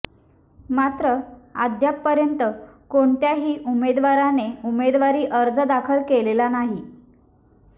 मात्र अद्यापपर्यंत कोणत्याही उमेदवाराने उमेदवारी अर्ज दाखल केलेला नाही